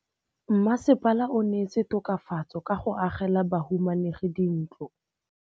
Mmasepala o neetse tokafatsô ka go agela bahumanegi dintlo.